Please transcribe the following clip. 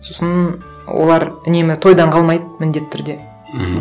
сосын олар үнемі тойдан қалмайды міндетті түрде мхм